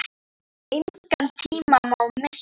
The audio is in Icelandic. Engan tíma má missa.